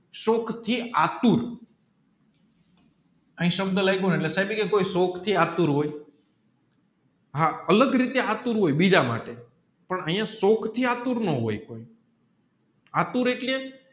શોકથી આતુર હિયા સબાહ લયગુને કે સાહિબ કોમી શોક થી આતુર હોય હા અલગ રીતે આતુર હોય બીજા માટે પણ અહીંયા શૂક થિસ આતુર નો હોય કોઈ આતુર એટલે